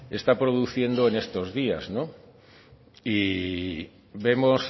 está produciendo en estos días no y vemos